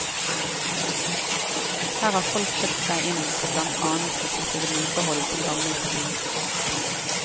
Her har folk kjøpt seg inn for blant annet å slippe vedlikehold på gammelt bygg.